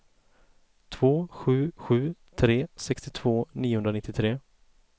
två sju sju tre sextiotvå niohundranittiotre